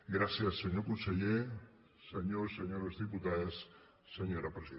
gràcies senyor conseller senyors i senyores diputades senyora presidenta